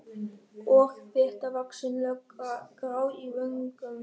Og þéttvaxin lögga, grá í vöngum.